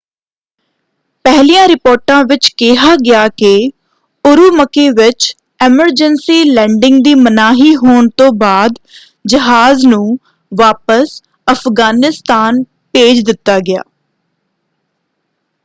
ਪਹਿਲੀਆਂ ਰਿਪੋਰਟਾਂ ਵਿੱਚ ਕਿਹਾ ਗਿਆ ਕਿ ਉਰੂਮਕੀ ਵਿੱਚ ਐਮਰਜੈਂਸੀ ਲੈਂਡਿੰਗ ਦੀ ਮਨਾਹੀ ਹੋਣ ਤੋਂ ਬਾਅਦ ਜਹਾਜ਼ ਨੂੰ ਵਾਪਸ ਅਫ਼ਗਾਨਿਸਤਾਨ ਭੇਜ ਦਿੱਤਾ ਗਿਆ।